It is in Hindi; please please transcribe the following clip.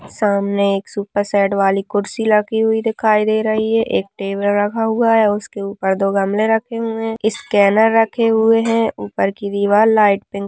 सामने एक सुपर सेट वाली कुर्सी रखी हुई दिखाई दे रही है एक टेबल रखा हुआ है उसके ऊपर दो गमले रखे हुए हैं स्कैनर रखे हुए हैं ऊपर की दीवार लाइट पिंक --